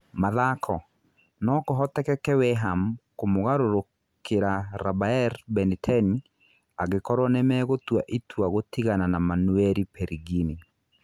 (Mathako) No kũhotekeke Weham kũmũgarũrũkĩra Rabaer, Mbeniteni angĩkorwo nĩmegũtua ĩtua gũtigana na Manueri Perigini.